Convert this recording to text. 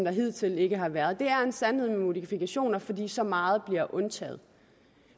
hidtil ikke har været det er en sandhed med modifikationer fordi så meget bliver undtaget